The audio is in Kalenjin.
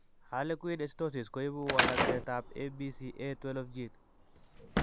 Harlequin ichthyosis koibu walaksetap ABCA12 gene.